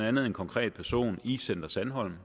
andet en konkret person i center sandholm